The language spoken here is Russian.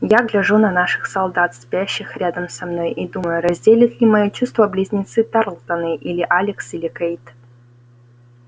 я гляжу на наших солдат спящих рядом со мной и думаю разделят ли мои чувства близнецы тарлтоны или алекс или кэйд